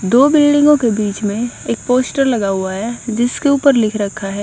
दो बिल्डिंगों के बीच में एक पोस्टर लगा हुआ है जिसके ऊपर लिख रखा है।